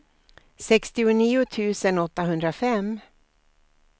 sextionio tusen åttahundrafem